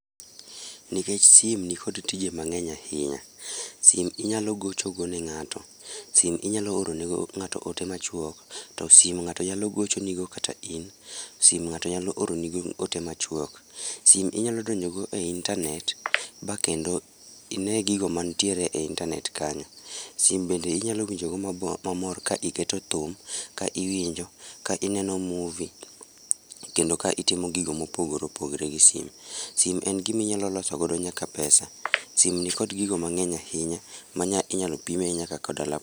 Nikech sim nikod tije mang'eny ahinya. Sim inyalo gocho go ne ng'ato, sim inyalo oro nego ng'ato ote machuok, to simo ng'ato nyalo gocho nigo kata in, sim ng'ato nyalo oro nigo ote machuok. Sim inyalo donjo go e internet ba kendo ine gigo manitiere e internet kanyo. Sim bende inyalo winjo go mamor ka iketo thum, ka iwinjo, ka ineno movie, kendo ka itimo gigo mopogore opogore gi sim. Sim en giminyalo loso go nyaka pesa, sim nikod gigo mang'eny ahinya manya inyalo pime nyaka koda laptop